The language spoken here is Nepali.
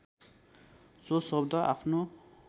सो शब्द आफ्नो